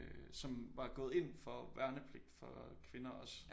Øh som var gået ind for værnepligt for kvinder også